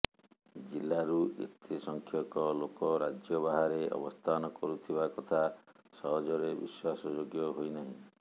ଜିଲାରୁ ଏତେ ସଂଖ୍ୟକ ଲୋକ ରାଜ୍ୟ ବାହାରେ ଅବସ୍ଥାନ କରୁଥିବା କଥା ସହଜରେ ବିଶ୍ୱାସଯୋଗ୍ୟ ହୋଇନାହିଁ